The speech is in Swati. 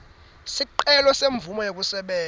sicelo semvumo yekusebenta